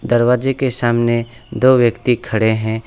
दरवाजे के सामने दो व्यक्ति खड़े हैं।